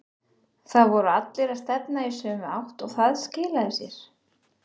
Það voru allir að stefna í sömu átt og það skilaði sér.